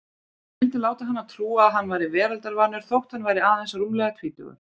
Hann vildi láta hana trúa að hann væri veraldarvanur þótt hann væri aðeins rúmlega tvítugur.